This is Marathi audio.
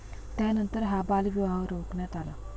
त्यानंतर हा बालविवाह रोखण्यात आला.